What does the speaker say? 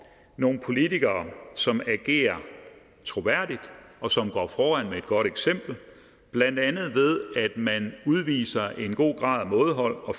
nogle politikere som agerer troværdigt og som går foran med et godt eksempel blandt andet ved at man udviser en god grad af mådehold og